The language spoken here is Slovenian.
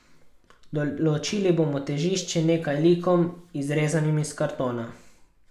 Določili bomo težišče nekaj likom, izrezanim iz kartona.